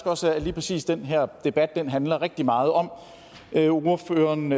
også at lige præcis den her debat handler rigtig meget om ordføreren